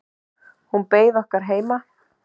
Hún beið okkar heima.